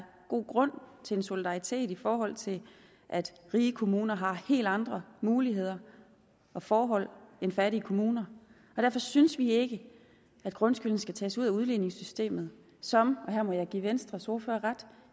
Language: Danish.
god grund til en solidaritet i forhold til at rige kommuner har helt andre muligheder og forhold end fattige kommuner derfor synes vi ikke at grundskylden skal tages ud af udligningssystemet som og her må jeg give venstres ordfører ret